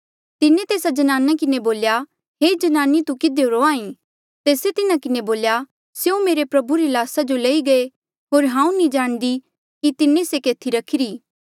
तिन्हें तेस्सा ज्नाने किन्हें बोल्या हे ज्नाने तू किधियो रोंहां ईं तेस्से तिन्हा किन्हें बोल्या स्यों मेरे प्रभु री ल्हासा जो लई गये होर हांऊँ नी जाणदी कि तिन्हें से केथी रखिरा